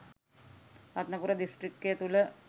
රත්නපුර දිස්ත්‍රික්කය තුළ